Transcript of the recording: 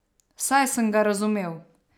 Saj sem ga razumel.